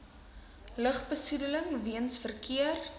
lugbesoedeling weens verkeer